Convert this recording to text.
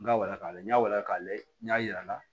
N ka wara k'a lajɛ n y'a walan k'a lajɛ n y'a yir'a la